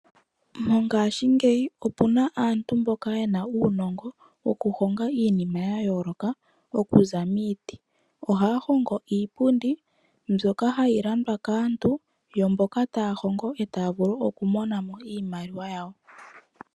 Mongaashingeyi opuna aantu mboka yena uunongo wokuhonga iinima ya yooloka okuza miiti. Ohaya hongo iipundi mbyoka hayi landwa kaantu yo mboka taa hongo etaa vulu okumona mo iimaliwa yawo.